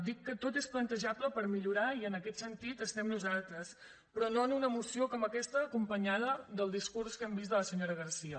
dic que tot és plan·tejable per millorar i en aquest sentit estem nosaltres però no en una moció com aquesta acompanyada del discurs que hem vist de la senyora garcía